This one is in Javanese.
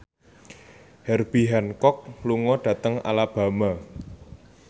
Herbie Hancock lunga dhateng Alabama